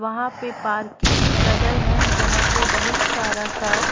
वहाँ पे पार्किंग लगल है जहाँ पे बहुत सारा कार --